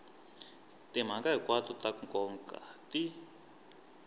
timhaka hinkwato ta nkoka ti